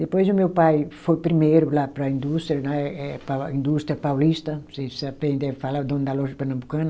Depois o meu pai foi primeiro lá para a indústria, né eh pa, indústria paulista, aprenderam falar, é o dono da loja pernambucana.